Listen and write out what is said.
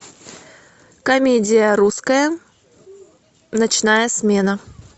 комедия русская ночная смена